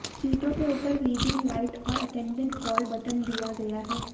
सीटों के ऊपर रीडिंग लाइट और अटेंडेंट कॉल बटन दिया गया है